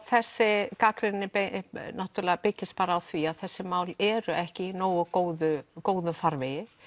þessi gagnrýni byggist á því að þessi mál eru ekki í nógu góðum góðum farvegi